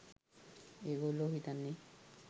ඒගොල්ලො හිතන්නේ